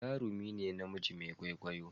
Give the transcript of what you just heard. jarumi ne namiji Mai kwaikwayo